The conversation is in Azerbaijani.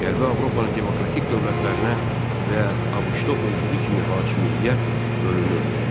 Qərbi Avropanın demokratik dövlətlərinə və ABŞ-da olduğu kimi hakimiyyət bölünürdü.